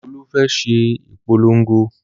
Olú fẹ́ ṣe ìpolongo